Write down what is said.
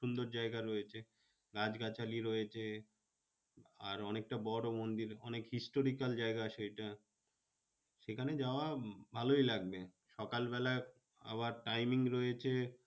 সুন্দর জায়গা রয়েছে গাছগাছালি রয়েছে। আর অনেকটা বড় মন্দির অনেক historical জায়গা আছে ওটা। সেখানে যাওয়া ভালোই লাগবে। সকালবেলায় আবার timing রয়েছে